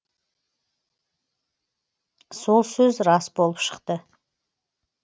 сол сөз рас болып шықты